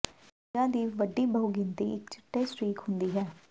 ਖਣਿਜਾਂ ਦੀ ਵੱਡੀ ਬਹੁਗਿਣਤੀ ਇੱਕ ਚਿੱਟੇ ਸਟ੍ਰੀਕ ਹੁੰਦੀ ਹੈ